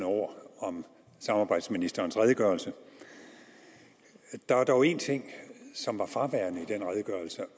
ord om arbejdsministerens redegørelse der er dog en ting som er fraværende i den redegørelse